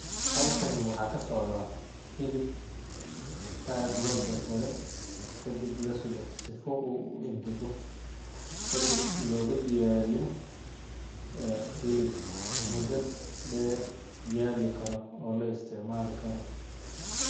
Halkani waxa ka socda hilib aad loo jar jare kadib lasoo leeyah sifo uu u ingego. Kadib lagu diyaariyo, ah, hilib muddo dheer yaali karo oo la isticmaali karo.